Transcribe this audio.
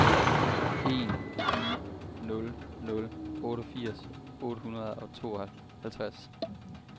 en ni nul nul otteogfirs otte hundrede og tooghalvtreds